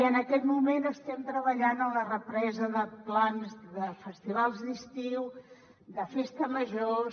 en aquest moment estem treballant en la represa de plans de festivals d’estiu de festes majors